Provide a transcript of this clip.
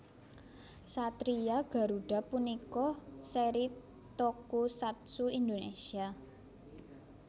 Satria Garuda punika seri tokusatsu Indonesia